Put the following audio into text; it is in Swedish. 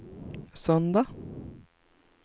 söndag